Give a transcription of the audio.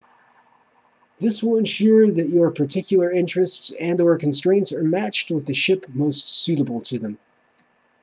this will ensure that your particular interests and/or constraints are matched with the ship most suitable to them